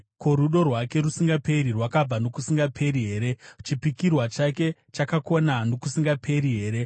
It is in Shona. Ko, rudo rwake rusingaperi rwakabva nokusingaperi here? Chipikirwa chake chakakona nokusingaperi here? Sera